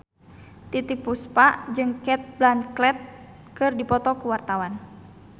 Titiek Puspa jeung Cate Blanchett keur dipoto ku wartawan